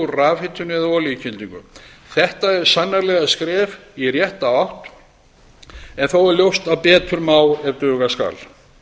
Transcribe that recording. rafhitun eða olíukyndingu þetta er sannarlega skref í rétta átt en þó er ljóst að betur má ef duga skal